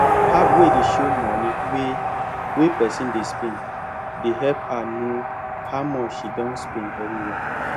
app wey dey show money wey wey person dey spend dey help her know how much she don spend very well